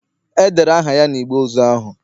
edere aha ya na igbe ozu ahu